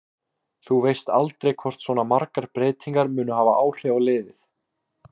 Þú veist aldrei hvort svona margar breytingar munu hafa áhrif á liðið.